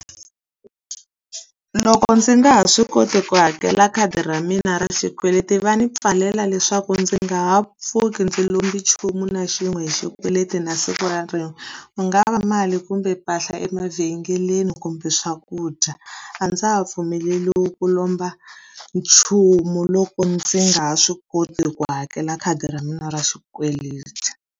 Loko ndzi nga ha swi koti ku hakela khadi ra mina ra xikweleti va ni pfalela leswaku ndzi nga ha pfuki ndzi lombi nchumu na xin'we hi xikweleti na siku ra rin'we. Ku nga va mali, kumbe mpahla emavhengeleni, kumbe swakudya. A ndza ha pfumeleriwi ku lomba nchumu loko ndzi nga ha swi koti ku hakela khadi ra mina ra xikweleti.